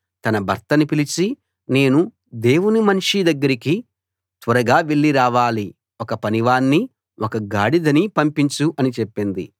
తన భర్తను పిలిచి నేను దేవుని మనిషి దగ్గరికి త్వరగా వెళ్ళి రావాలి ఒక పనివాణ్ణీ ఒక గాడిదనీ పంపించు అని చెప్పింది